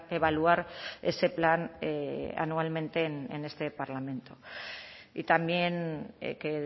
evaluar ese plan anualmente en este parlamento y también que